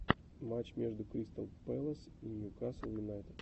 матч между кристал пэлас и ньюкасл юнайтед